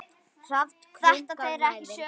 Hrafn krunkar nærri.